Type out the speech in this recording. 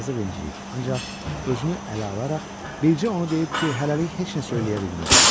Yazıq incəyib, ancaq özünü ələ alaraq bircə onu deyib ki, hələlik heç nə söyləyə bilməz.